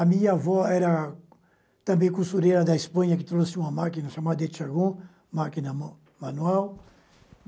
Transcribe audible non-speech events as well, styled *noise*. A minha avó era também costureira da Espanha, que trouxe uma máquina chamada de, *unintelligible* máquina ma manual.